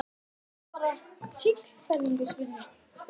En er þetta kannski bara siðferðileg spurning?